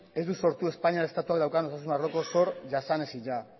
ez du sortu espainian estatuak daukan osasun arloko zor jasanezina